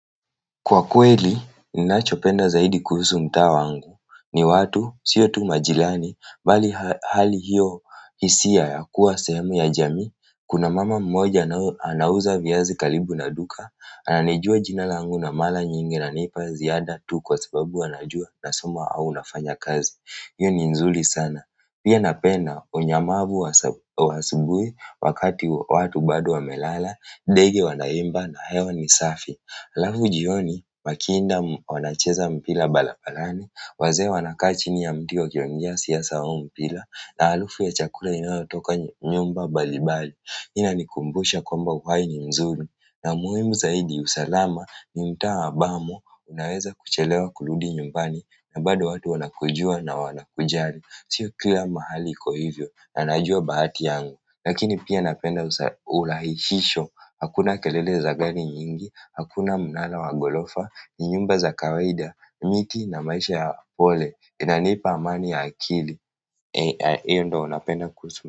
Kwa kweli, ninachopenda zaidi kuhusu mtaa wangu. Ni watu, siyo tu majirani, bali hali hiyo, hisia ya kuwa sehemu ya jamii, kuna mama mmoja anauza viazi karibu na duka, ananijua jina langu na mara nyingi ananipa ziada tu kwa sababu anajua nasoma au nafanya kazi. Hiyo ni nzuri sana. Pia napenda unyamavu wa asubuhi wakati watu bado wamelala, ndege wanaimba na hewa ni safi. Halafu jioni makinda wanacheza mpira barabarani, wazee wanakaa chini ya mti wakiongea siasa au mpira na harufu ya chakula inayotoka nyumba mbalimbali hiyo inanikumbusha kwamba mwanzo mzuri na muhimu zaidi usalama ni mtaa ambamo unaweza kuchelewa kurudi nyumbani na bado watu wanakujua na wanakujali. Si kila mahali iko hivyo na najua bahati yangu. Lakini pia napenda urahishisho. Hakuna kelele za gari nyingi, hakuna mnara wa ghorofa, ni nyumba za kawaida, miti na maisha ya pole. Inanipa amani ya akili. Hiyo ndiyo napenda kuhusu.